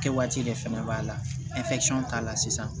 Kɛ waati de fɛnɛ b'a la k'a la sisan